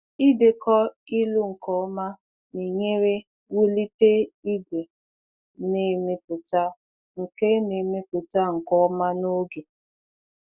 Idekọ ịlụ nke ọma na-enyere wulite ìgwè na-emepụta nke na-emepụta nke ọma n’oge.